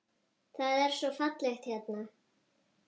Það er svo fallegt hérna.